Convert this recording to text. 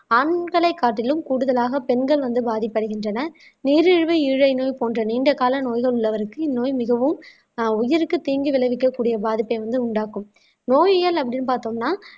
ஆண்களை காட்டிலும் கூடுதலாக பெண்கள் வந்து பாதிப்படைகின்றனர் நீரிழிவு ஈழை நோய் போன்ற நீண்ட கால நோய்கள் உள்ளவருக்கு இந்நோய் மிகவும் ஆஹ் உயிருக்கு தீங்கு விளைவிக்கக்கூடிய பாதிப்பை வந்து உண்டாக்கும் நோயியல் அப்படின்னு பார்த்தோம்னா